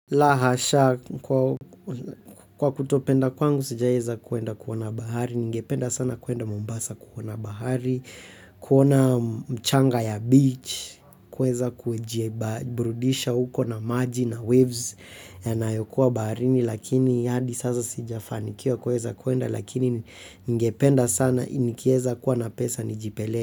Lahasha, kwa kwa kutopenda kwangu sijaieza kwenda kuona bahari, ningependa sana kuenda Mombasa kuona bahari, kuona mchanga ya beach, kuweza kujie ba burudisha huko na maji na waves na yokuwa baharini lakini hadi sasa sijafanikiwa kuweza kwenda lakini ningependa sana inikieza kuwa pesa nijipele.